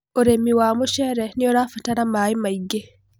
urĩmi wa mucere nĩurabarata maĩ maĩngi